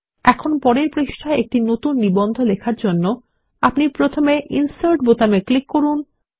এখন পরের পৃষ্ঠায় একটি নতুন নিবন্ধ লেখার জন্য আপনি প্রথমে ইনসার্ট বোতামে ক্লিক করুন